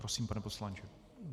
Prosím, pane poslanče.